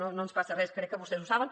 no ens passa res crec que vostès ho saben